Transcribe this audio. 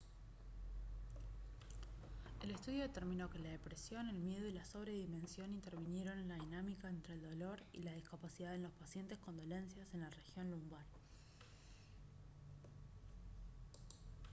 el estudio determinó que la depresión el miedo y la sobredimensión intervinieron en la dinámica entre el dolor y la discapacidad en los pacientes con dolencias en la región lumbar